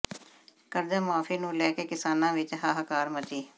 ਕਰਜ਼ਾ ਮੁਆਫ਼ੀ ਨੂੰ ਲੈ ਕੇ ਕਿਸਾਨਾਂ ਵਿਚ ਹਾਹਾਕਾਰ ਮਚੀ